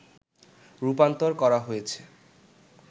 রূপান্তর করা হয়েছে